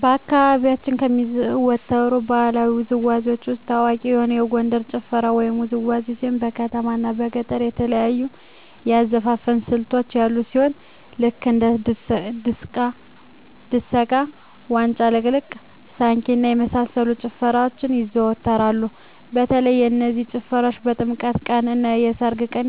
በአካባቢያችን ከሚዘወተሩ ባህለዊ ውዝዋዜዎች ውስጥ ታዋቂ የሆነ የጎንደር ጭፈራ ወይም ውዝዋዜ ሲሆን በከተማው እና በገጠሩ የተለያዩ የአዘፋፈን ስልቶች ያሉ ሲሆን ልክ እንደ ድሰቃ; ዋጫ ልቅለቃ; ሳንኪ እና የመሳሰሉት ጭፈራዎች ይዘዎተራሉ በተለይ እነዚህ ጭፈራዎች በጥምቀት ቀን; እና በሰርግ ቀን